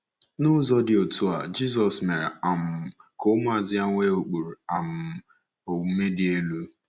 N’ụzọ dị otú a, Jizọs mere um ka ụmụazụ ya nwee ụkpụrụ um omume dị elu.